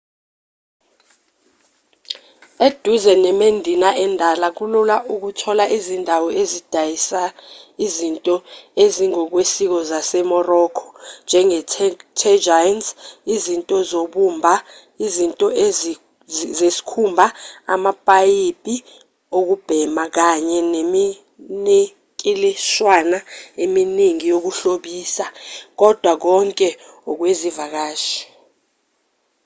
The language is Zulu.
eduze nemedina endala kulula ukuthola izindawo ezidayisa izinto ezingokwesiko zase-morocco njenge-tagines izinto zobumba izinto zesikhumba amapayipi okubhema kanye neminikilishwana eminingi yokuhlobisa kodwa konke okwezivakashi